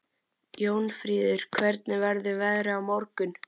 Jónfríður, hvernig verður veðrið á morgun?